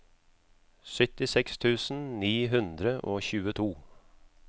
syttiseks tusen ni hundre og tjueto